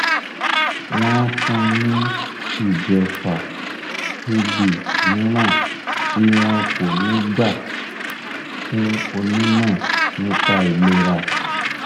wọn fún un ní ìjẹfà tb mìíràn tí wọn kò ní gbà fún onímọ nípa ìlera